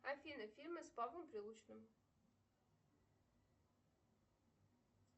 афина фильмы с павлом прилучным